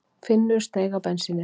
Finnur steig á bensínið